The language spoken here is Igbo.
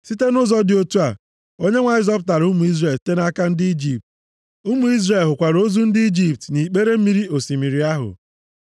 Site nʼụzọ dị otu a, Onyenwe anyị zọpụtara ụmụ Izrel site nʼaka ndị Ijipt. Ụmụ Izrel hụkwara ozu ndị Ijipt nʼikpere mmiri osimiri ahụ.